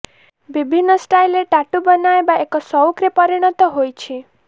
ବିଭିନ୍ନ ଷ୍ଟାଇଲେ ଟାଟୁ ବନାଇବା ଏକ ସଉକରେ ପରିଣତ ହୋଇଛି